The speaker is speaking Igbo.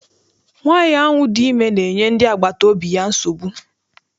Nwaanyi ahụ dị ime na-enye ndị agbata obi ya nsogbu.